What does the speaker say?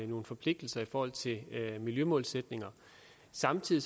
nogle forpligtelser i forhold til miljømålsætninger samtidig